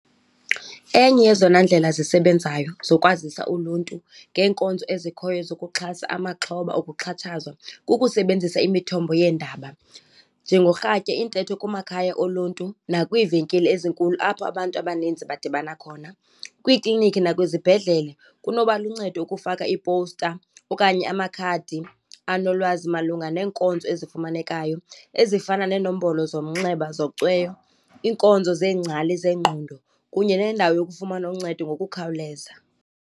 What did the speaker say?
Enye yezona ndlela zisebenzayo zokwazisa uluntu ngeenkonzo ezikhoyo zokuxhasa amaxhoba okuxhatshazwa, kukusebenzisa imithombo yeendaba. Njengorhatya, iintetho kumakhaya oluntu, nakwiivenkile ezinkulu, apho abantu abaninzi badibana khona, kwiiklinikhi nakwizibhedlele. Kunoba luncedo ukufaka iipowusta okanye amakhadi anolwazi malunga neenkonzo ezifumanekayo ezifana neenombolo zomnxeba zocweyo, iinkonzo zeengcali zengqondo kunye nendawo yokufumana uncedo ngokukhawuleza.